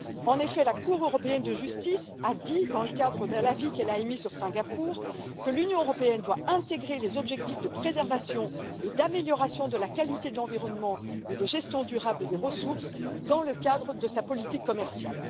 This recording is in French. En effet, la Cour européenne de justice a dit, dans le cadre de l'avis qu'elle a émis sur Singapour, que l'Union européenne doit intégrer les objectifs de préservation et d'amélioration de la qualité de l'environnement et de gestion durable des ressources dans le cadre de sa politique commerciale.